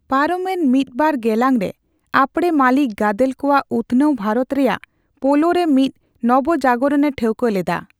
ᱯᱟᱨᱚᱢᱮᱱ ᱢᱤᱫᱼᱵᱟᱨ ᱜᱮᱞᱟᱝ ᱨᱮ, ᱟᱯᱲᱮ ᱢᱟᱞᱤᱠ ᱜᱟᱫᱮᱞ ᱠᱚᱣᱟᱜ ᱩᱛᱱᱟᱹᱣ ᱵᱷᱟᱨᱚᱛ ᱨᱮᱭᱟᱜ ᱯᱳᱞᱳᱨᱮ ᱢᱤᱫ ᱱᱚᱵᱚᱡᱟᱜᱚᱨᱚᱱ ᱮ ᱴᱷᱟᱹᱣᱠᱟᱹ ᱞᱮᱫᱟ ᱾